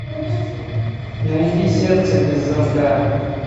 найди сердце без замка